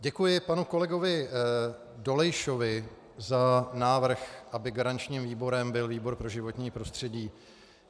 Děkuji panu kolegovi Dolejšovi za návrh, aby garančním výborem byl výbor pro životní prostředí.